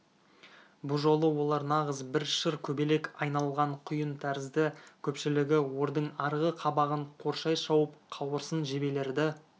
бұ жолы олар нағыз бір шыр көбелек айналған құйын тәрізді көпшілігі ордың арғы қабағын қоршай шауып қауырсын жебелерді